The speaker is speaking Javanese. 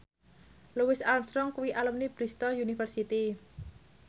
Louis Armstrong kuwi alumni Bristol university